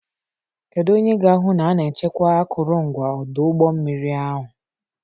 Kedu onye ga-ahụ na a na-echekwa akụrụngwa ọdụ ụgbọ mmiri ahụ?